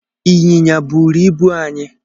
Ịnyịnya bụụrụ ibu anyị